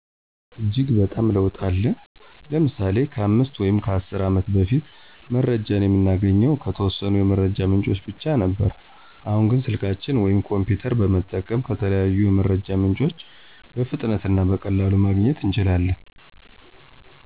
እጅግ በጣም ለውጥ አለ። ለምሳሌ:-ከ 5 ወይም 10 አመታት በፊት መረጃን የምናገኘው ከተወሰኑ የመረጃ ምንጮች ብቻ ነበር አሁን ግን ስልካችንን ወይም ኮሚፒተር በመጠቀም ከተለያዩ የመረጃ ምንጮች በፍጥነት እና በቀላሉ ማግኘት እንችላለን።